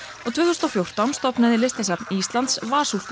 og tvö þúsund og fjórtán var stofnaði Listasafn Íslands